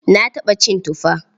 Na taɓa cin tufa.